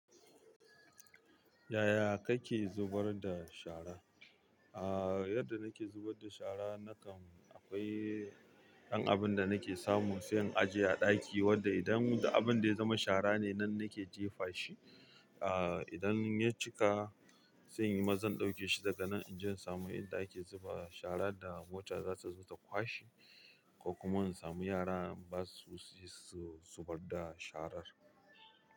Yaya kake zubar da shara? Aaa, yadda nake zubar da shara nakan akwai ɗan abun da nake samu, sai in ajiye a ɗaki. Wanda idan da abun da ya zama shara ne, nan nake jefa shi. Aa, idan ya cika sai inyi maza in ɗauke shi daga nan in je in samu inda ake zuba shara da mota za su zo su kwashi, ko kuma in samu yara ba su si su badda sharar.